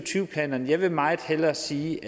planen vil jeg meget hellere sige